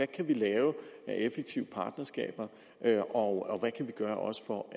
kan lave af effektive partnerskaber og også på